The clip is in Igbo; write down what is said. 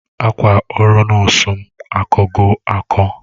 Akwa oru nosu mu akogi ako